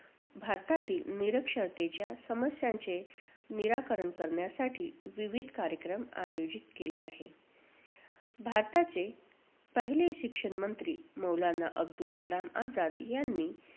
भारतातील निरक्षरतेच्या समस्यांचे निराकरण करण्यासाठी विविध कार्यक्रम आयोजित केले आहेत. अह भारताचे पहिले शिक्षण मंत्री मौलाना अब्दुल कलाम आझाद यांनी